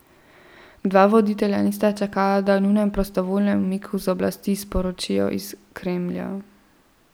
Dva voditelja nista čakala, da o njunem prostovoljnem umiku z oblasti sporočijo iz Kremlja.